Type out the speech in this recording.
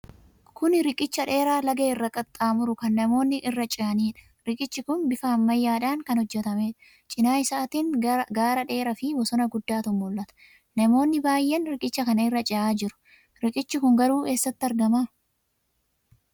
Kun riqicha dheeraa laga irra qaxxaamuru kan namoonni irra ce'aniidha. Riqichi kun bifa ammayyaadhaan kan hojjetameedha. Cina isaatiin gaara dheeraafi bosona guddaatu mul'ata. Namoonni baay'een riqicha kana irra ce'aa jiru. Riqichi kun garuu eessatti argama?